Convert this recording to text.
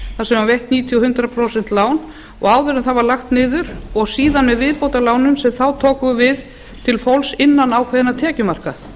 sem var veitt níutíu og hundrað prósent lán áður en það var lagt niður síðan þeim viðbótarlánum sem þá tóku við til fólks innan ákveðinna tekjumarka